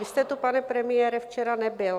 Vy jste tu, pane premiére, včera nebyl.